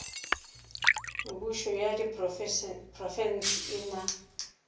mebušo ya diprofense e na